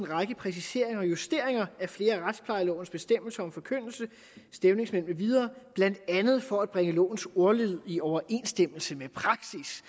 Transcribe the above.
række præciseringer og justeringer af flere af retsplejelovens bestemmelser om forkyndelse stævningsmænd med videre blandt andet for at bringe lovens ordlyd i overensstemmelse med praksis